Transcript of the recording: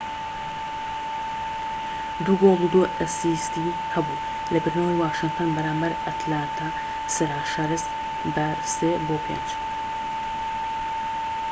٢ گۆڵ و ٢ ئەسیستی هەبوو لە بردنەوەی واشنتن بەرامبەر ئەتلانتا سراشەرس بە ٥-٣